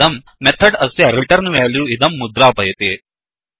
इदं मेथड् अस्य रिटर्न्वेल्यू इदं मुद्रापयति